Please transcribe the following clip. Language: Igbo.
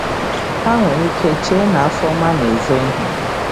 Ha nwere ike chee na Afoma na-ezo ihe.